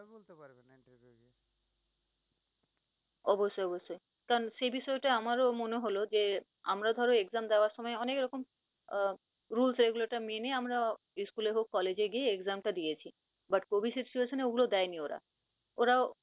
অবশ্যই অবশ্যই, কারন সে বিষয় টা আমারও মনে হল যে, আমরা ধরো exam দেওয়ার সময় অনেক রকম আহ rules মেনে আমরা স্কুলে হোক কলেজে গিয়ে exam টা দিয়েছি, but covid situation এ অগুলো দেয়নি ওরা। ওরাও